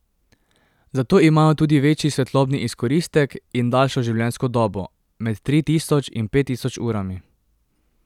Zato imajo tudi večji svetlobni izkoristek in daljšo življenjsko dobo, med tri tisoč in pet tisoč urami.